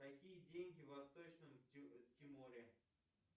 какие деньги в восточном тиморе